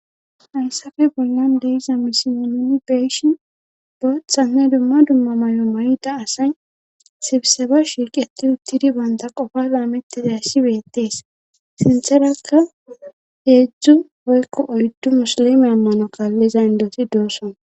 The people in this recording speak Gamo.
Hayssafe bollan deiza misiyononi beeshinbootha ne dumma dumma may7o may,da asay sibse ba shirqeti uttidi baynta qofa laamettizay ssibeettees sintherakka heedzdzu boykko oyddu musolime ammano kaalliza indoti doosson.